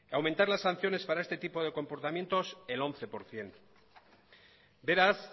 aumentar las sanciones para este tipo de comportamiento el once por ciento beraz